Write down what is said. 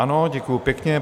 Ano, děkuji pěkně.